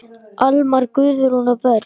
Almar, Guðrún og börn.